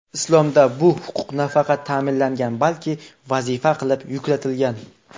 Islomda bu huquq nafaqat ta’minlangan, balki vazifa qilib yuklatilgan.